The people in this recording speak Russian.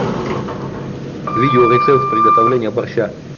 видео рецепт приготовления борща